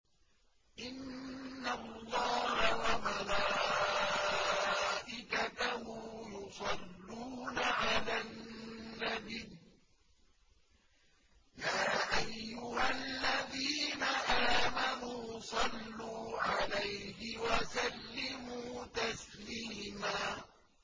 إِنَّ اللَّهَ وَمَلَائِكَتَهُ يُصَلُّونَ عَلَى النَّبِيِّ ۚ يَا أَيُّهَا الَّذِينَ آمَنُوا صَلُّوا عَلَيْهِ وَسَلِّمُوا تَسْلِيمًا